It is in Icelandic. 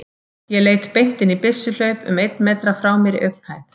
Ég leit beint inn í byssuhlaup um einn metra frá mér í augnhæð.